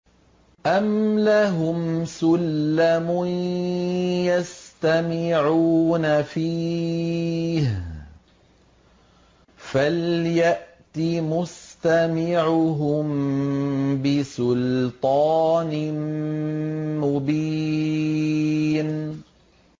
أَمْ لَهُمْ سُلَّمٌ يَسْتَمِعُونَ فِيهِ ۖ فَلْيَأْتِ مُسْتَمِعُهُم بِسُلْطَانٍ مُّبِينٍ